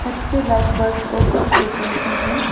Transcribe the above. light bulb और कुछ decoration भी--